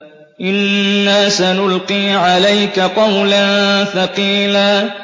إِنَّا سَنُلْقِي عَلَيْكَ قَوْلًا ثَقِيلًا